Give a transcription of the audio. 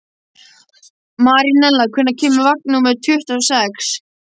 Marinella, hvenær kemur vagn númer tuttugu og sex?